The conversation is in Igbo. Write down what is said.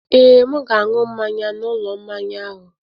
Ee, m ga-aṅụ mmanya n'ụlọ mmanya ahụ.